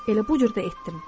Elə bu cür də etdim.